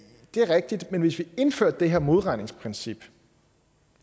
er rigtigt men hvis vi indførte det her modregningsprincip